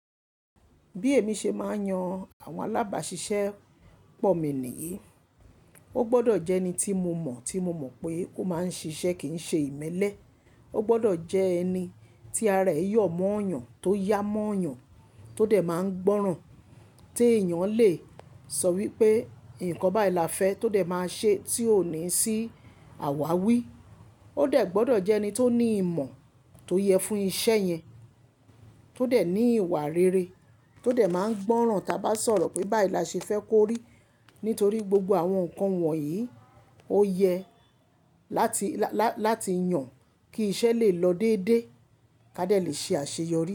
Bí èmi ṣe máa ń yan àwọn alábàáṣiṣẹ́ pọ̀ mi nìyí, ó gbọ́dọ̀ jẹ́ ẹni tí mo mọ̀, tí mo mọ̀ pé ó máa ń ṣiṣẹ́ kì ń ṣe ìmẹ́lẹ́. Ó gbọ́dọ̀ jẹ́ ẹni tí ara rẹ̀ yọ mọ́ ènìyàn, tó yá mọ́ ènìyàn, tó dẹ̀ máa ń gbọ́ràn. Tí èèyàn le sọ wípé ǹkan báyi là fẹ́ tó dẹ̀ máa ṣe, tí ó ní sí àwáwí. Ó dẹ̀ gbọ́dọ̀ jẹ́ ẹni tó ní ìmọ̀ tó yẹ fún iṣẹ́ yẹn, tó dẹ̀ ní ìwà rere, tó dẹ̀ máa ń gbọ́ràn táa bá sọ̀rọ̀ pé bá i là ṣe fẹ́ kó rí. Nítorí gbogbo àwọn nǹkan wọ̀nyí ó yẹ láti, lá-láti yàn kí iṣẹ́ lè lọ dédé, ká dẹ̀ lè ṣe àṣeyọrí.